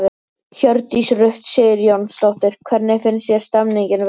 Hjördís Rut Sigurjónsdóttir: Hvernig finnst þér stemningin vera?